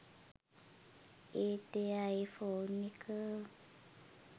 ඒත් එයා ඒ ෆෝන් එක